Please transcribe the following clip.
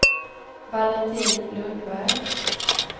Valentin Lundberg